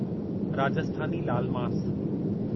Rajasthani laal मास